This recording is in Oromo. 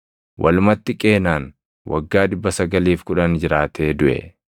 Walumatti Qeenaan waggaa 910 jiraatee duʼe.